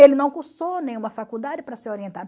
Ele não cursou nenhuma faculdade para ser orientado.